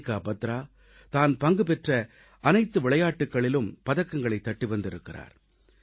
மனிகா பத்ரா தான் பங்கு பெற்ற அனைத்து விளையாட்டுகளிலும் பதக்கங்களைத் தட்டி வந்திருக்கிறார்